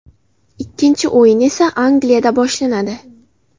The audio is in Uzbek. Ikkinchi o‘yin esa Angliyada boshlanadi.